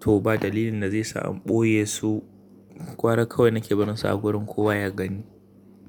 to ba dalilin da zai sa in ɓoye su, gwara kawai na ke barinsa a wurin ko ya gani.